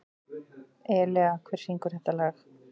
Elea, hver syngur þetta lag?